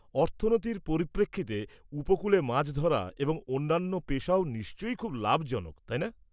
-অর্থনীতির পরিপ্রেক্ষিতে, উপকূলে মাছ ধরা এবং অন্যান্য পেশাও নিশ্চয়ই খুব লাভজনক, তাই না?